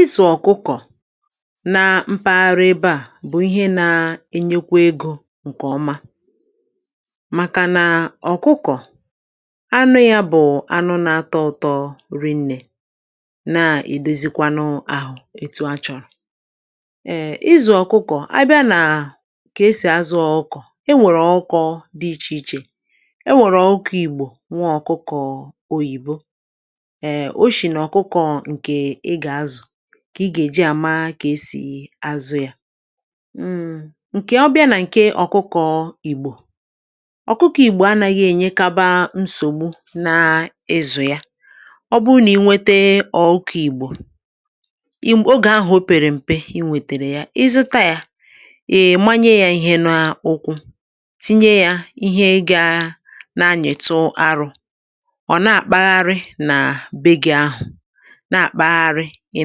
isì ọ̀kụkọ̀ nà mpaghara ebe à bụ̀ ihe nà-ènyekwa egȯ ǹkè ọma, màkànà ọ̀kụkọ̀ anụ yȧ bụ̀ anụ nà-atọ ụ̇tọ̀ rịnnè nà-èdosikwanụ àhụ̀ ètù a chọ̀rọ̀, eee um, izù ọ̀kụkọ̀, àbịa nà kà esì azụ̇ ọ̀kụkọ̀. E nwèrè ọ̀kụkọ̇ dị̇ iche iche; e nwèrè ọ̀kụkọ̇ Ìgbò, nwa ọ̀kụkọ̀ Oyìbo. Kà ị gà-èji àma, kà esì àsụ̀ yȧ ǹkè ọbịa nà ǹkè ọ̀kụkọ̀ Ìgbò. Ọ̀kụkọ̀ Ìgbò anàghị̇ ènyekaba nsògbu n’ezù yȧ; ọ bụụ nà ị nwètè ọ̀kụkọ̇ Ìgbò, Ìgbò ogè ahụ̀ ọ pèrè m̀pe, ị wètèrè yà, ịzụta yȧ, ị manye yȧ ihe n’ụkwụ, tinye yȧ ihe gà na-anyètụ arụ̇, nà-àkpagharị, ị̀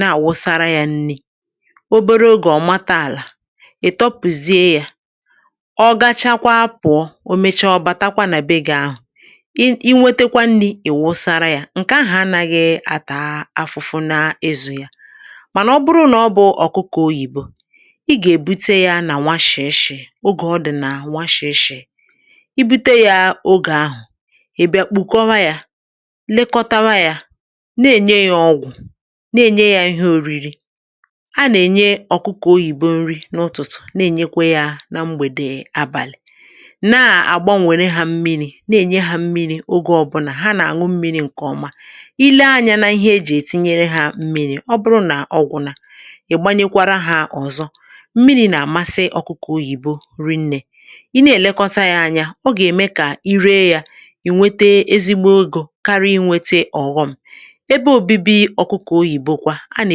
nà-àwụsara yȧ nni̇.Ọ bụrụ̀ ogè ọ̀ màtà àlà, ị̀ tọpụ̀zie yȧ, ọ gachakwa apụ̀ọ um, o mèchá ọ batakwa nà bee gị àhụ̀, i inwètèkwa nni̇ ì wụsàrà yȧ. Ǹkè ahụ̀ anàghị̇ atà afụfụ nà ịzụ̇ yà, mànà ọ bụrụ̀ nà ọ bụ̀ ọ̀kụkọ̀ Oyìbo, ị gà-èbute yȧ nà nwa shì eshì. Ogè ọdì nà nwa shì eshì, i bute yȧ ogè ahụ̀, ị̀ bịa kpùkọwa yȧ, lekọtawa yȧ, nà-ènye yȧ ihe ȯri̇ri̇.A nà-ènye ọ̀kụkọ̀ Oyìbo nri n’ụtụ̀tụ̀, nà-ènyekwe yȧ nà mgbèdè àbàlị̀; nà-àgbanwere hȧ mmiri̇, nà-ènye hȧ mmiri̇. Ogè ọbụnà hà nà-àṅụ mmi̇ri̇ ǹkè ọma. I lee anyȧ nà ihe ejì ètinye yȧ mmi̇ri̇, ọ bụrụ̀ nà ọgwụ̀ nà ị̀ gbanyekwara hà, ọ̀zọ̀ mmiri̇ nà-à masịrị̀ ọ̀kụkọ̀ Oyìbo nri. Nnē um, i nà-èlekọta yȧ ànyà, ọ gà-ème kà i ree yȧ, ì nwètè ezigbo ogè kàríí, nwètè ọ̀ghọm. A nà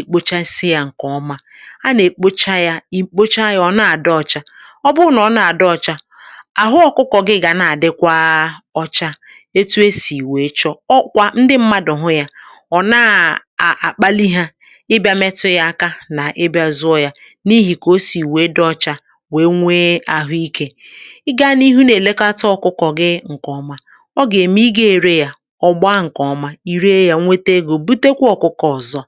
èkpocha nsi̇ yȧ ǹkè ọma, a nà èkpocha yȧ, ì kpocha yȧ ọ̀ na-àdị ọcha. Ọ bụ nà ọ na-àdị ọcha, àhụ̀ ọ̇kụ̇kọ̇ gị gà nà-àdịkwa ọcha. Ètù e sì wèe chọ ọkwa, ndị mmadụ̀ hụ yȧ ọ̀ na-àkpali hà ịbịa mètụ yȧ aka, nà ịbịa zụọ yȧ n’ihì kà o sì wèe dị ọcha, wèe nwee àhụ̀ iké. Ị gànịhụ nà èlekàtà ọ̀kụkọ̇ gị ǹkè ọma, ọ gà-ème ị gà ere yȧ, ọ̀ gba ǹkè ọma, ì ree yȧ, nwètè egȯ ǹkè nà-àbà ọ̀zọ̀.